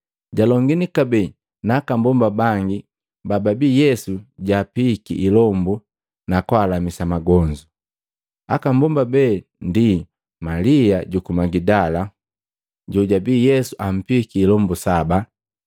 jalongini kabee na aka mbomba bangi bababi Yesu jaapihiki ilombu nakwaalamisa magonzu. Aka mbomba be ndi Malia juku Magidala, jojabi Yesu ampihiki ilombo saba,